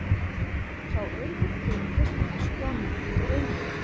Sá auður byggðist að mestu á nýtingu auðlinda.